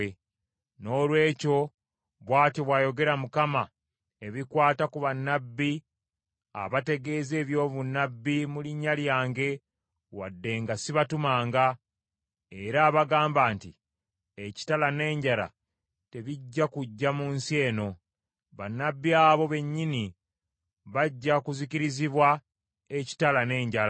Noolwekyo, bw’atyo bw’ayogera Mukama , ebikwata ku bannabbi abategeeza ebyobunnabbi mu linnya lyange wadde nga sibatumanga, era abagamba nti, ‘Ekitala n’enjala tebijja kujja mu nsi eno.’ Bannabbi abo bennyini bajja kuzikirizibwa ekitala n’enjala.